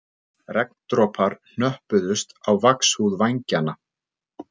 Regndropar hnöppuðust á vaxhúð vængjanna